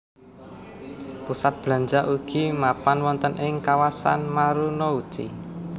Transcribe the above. Pusat belanja ugi mapan wonten ing kawasan Marunouchi